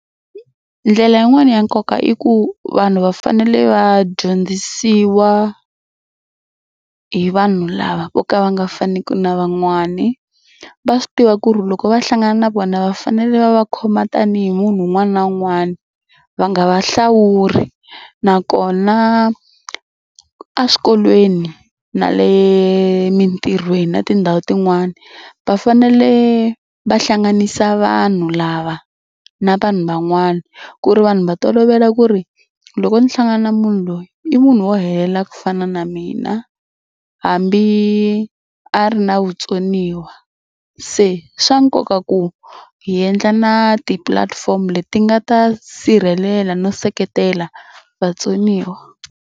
Ndlela yin'wani ya nkoka i ku vanhu va fanele va dyondzisiwa hi vanhu lava vo ka va nga faniku na van'wani. Va swi tiva ku ri loko va hlangana na vona va fanele va va khoma tanihi munhu un'wana na un'wana va nga va hlawuli nakona eswikolweni na le mitirhweni na tindhawu tin'wani va fanele va hlanganisa vanhu lava na vanhu van'wana ku ri vanhu va tolovela ku ri loko ndzi hlangana na munhu loyi i munhu wo helela ku fana na mina hambi a ri na vutsoniwa. Se swa nkoka ku hi endla na ti-platform leti nga ta sirhelela no seketela vatsoniwa.